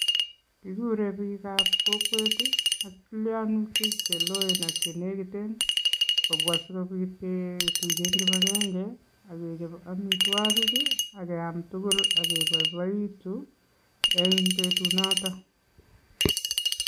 Kikure biikab kokwet ak tilionutik cheloen ak chenekiten kobwa sikobit ketuyen kipagenge ak kechob omitwogik ii ak keamtugul ak keboiboitu en betunoton.